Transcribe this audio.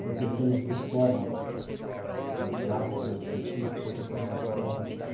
Uma pessoa não se forma no clássico, no científico, depois faz uma prova assim.